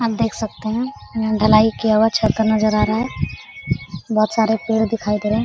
आप देख सकते हैं यहाँ ढलाई किया हुआ छत का नजारा आ रहा है बहुत सारे पेड़ दिखाई दे रहे है।